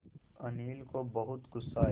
अनिल को बहुत गु़स्सा आया